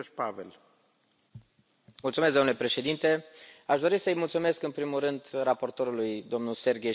Domnule președinte, aș dori să i mulțumesc în primul rând să raportorului, domnul Sergei Stanishev, pentru acest raport.